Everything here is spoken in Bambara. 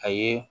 A ye